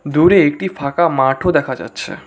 দূরে একটি ফাঁকা মাঠও দেখা যাচ্ছে।